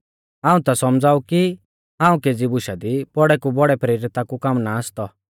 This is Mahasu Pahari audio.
हाऊं ता सौमझ़ा ऊ कि हाऊं केज़ी बुशा दी बौड़ै कु बौड़ै प्रेरिता कु कम नाईं आसतौ